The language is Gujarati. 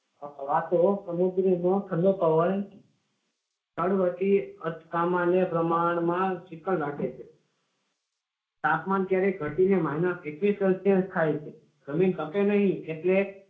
વાતો સમુદ્રી નો ઠંડો પવન ત્રણ વર્ષમાં શીતળ રાખે છે તાપમાન ક્યારેય ઘટીને minus એકવીસ celcius થાય છે તપે નહીં એટલે